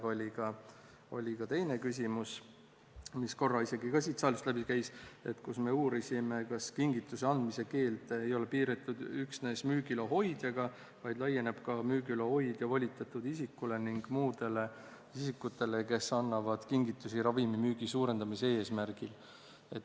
Aga oli ka teine küsimus, mis korra isegi ka siit saalist läbi käis, kus me uurisime, kas kingituse andmise keeld ei ole piiratud üksnes müügiloa hoidjaga, vaid laieneb ka müügiloa hoidja volitatud isikule ning muudele isikutele, kes annavad kingitusi ravimimüügi suurendamise eesmärgil.